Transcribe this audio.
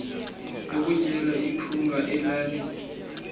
lokutyela iphunga elali